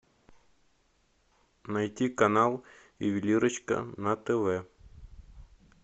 найти канал ювелирочка на тв